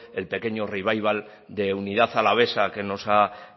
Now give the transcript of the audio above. el pequeño revival de unidad alavesa que nos ha